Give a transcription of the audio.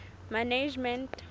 management